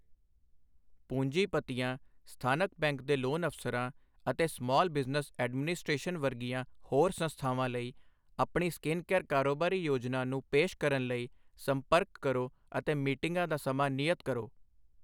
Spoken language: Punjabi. ਪੂੰਜੀਪਤੀਆਂ, ਸਥਾਨਕ ਬੈਂਕ ਦੇ ਲੋਨ ਅਫਸਰਾਂ, ਅਤੇ ਸਮਾਲ ਬਿਜ਼ਨਸ ਐਡਮਿਨਿਸਟ੍ਰੇਸ਼ਨ ਵਰਗੀਆਂ ਹੋਰ ਸੰਸਥਾਵਾਂ ਲਈ ਆਪਣੀ ਸਕਿਨਕੇਅਰ ਕਾਰੋਬਾਰੀ ਯੋਜਨਾ ਨੂੰ ਪੇਸ਼ ਕਰਨ ਲਈ ਸੰਪਰਕ ਕਰੋ ਅਤੇ ਮੀਟਿੰਗਾਂ ਦਾ ਸਮਾਂ ਨਿਯਤ ਕਰੋ।